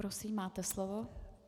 Prosím, máte slovo.